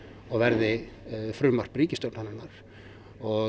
og verði frumvarp ríkisstjórnarinnar og